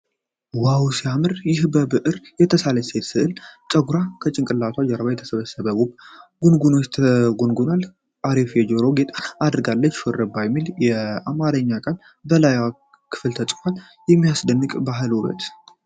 ዋው ሲያምር! ይህ በብዕር የተሳለች ሴት ስዕል ነው። ፀጉሯን ከጭንቅላቱ ጀርባ የተሰበሰበ ውብ ጉንጉን ተጎንጉኖላታል። አሪፍ የጆሮ ጌጥ አድርጋለች። 'ሹርባ' የሚል የአማርኛ ቃል በላይኛው ክፍል ተጽፏል። የሚያስደንቅ የባህል ውበት!